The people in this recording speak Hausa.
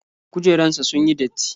Kujerunsa ​​sunyi datti.